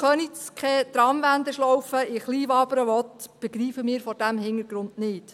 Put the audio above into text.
Weshalb Köniz keine Tramwendeschlaufe in Kleinwabern will, begreifen wir vor diesem Hintergrund nicht.